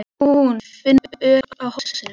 Finnst hún finna ör á hálsinum.